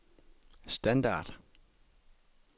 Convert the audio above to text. standard